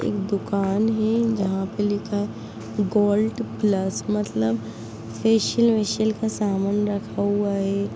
एक दुकान है जहाँ पे लिखा है गोल्ड प्लस मतलब फेसिअल वेसीअल का सामान रखा हुआ है।